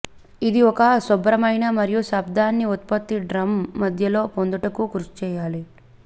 ఇది ఒక శుభ్రమైన మరియు శబ్దాన్ని ఉత్పత్తి డ్రమ్ మధ్యలో పొందుటకు కృషి చేయాలి